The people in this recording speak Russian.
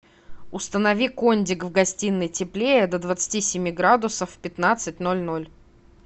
установи кондик в гостиной теплее до двадцати семи градусов в пятнадцать ноль ноль